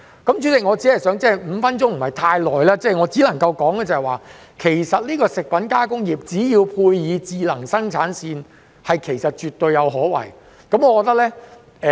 代理主席 ，5 分鐘時間不太足夠，我只能夠說，食品加工業配以智能生產線絕對有可為。